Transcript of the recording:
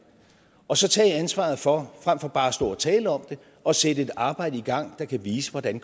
og så tage ansvaret for frem for bare at stå og tale om det at sætte et arbejde i gang der kan vise hvordan